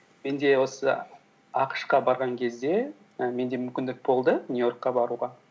менде осы ақш қа барған кезде і менде мүмкіндік болды нью йоркқа баруға